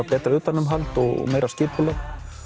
betra utanumhald og meira skipulag